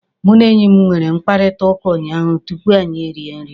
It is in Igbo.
Mụ na enyi m nwere mkparịkọtaụka unyaahụ tupu anyị erie nri.